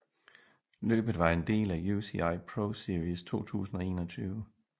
Løbet var en del af UCI ProSeries 2021